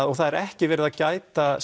og það er ekki verið að gæta